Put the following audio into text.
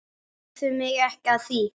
Spurðu mig ekki að því.